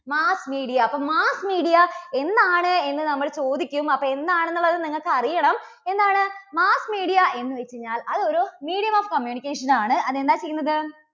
mass media അപ്പോൾ mass media എന്താണ് എന്ന് നമ്മൾ ചോദിക്കും. അപ്പോൾ എന്താണ് എന്നുള്ളത് നിങ്ങൾക്ക് അറിയണം. എന്താണ് mass media എന്ന് വച്ച് കഴിഞ്ഞാൽ അത് ഒരു medium of communication ആണ്. അത് എന്താ ചെയ്യുന്നത്?